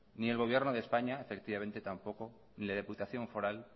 ni el gobierno de españa efectivamente tampoco ni la diputación foral